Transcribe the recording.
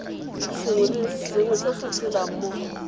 sengwe se se tshelelang mo